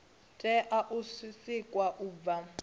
tea u sikwa u bva